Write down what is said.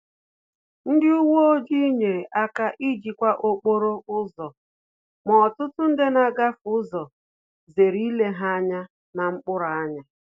Ndị uweojii nyere aka ijikwa okporo ụzọ, ma ọtụtụ ndị na-agafe ụzọ zere ile ha anya na mkpụrụ anya